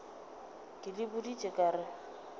ke le boditše ka re